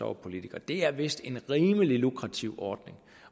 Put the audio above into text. var politiker det er vist en rimelig lukrativ ordning